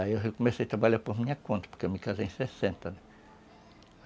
Aí eu comecei a trabalhar por minha conta, porque eu me casei em sessenta.